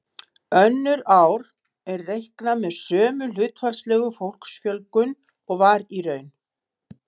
Önnur ár er reiknað með sömu hlutfallslegu fólksfjölgun og var í raun.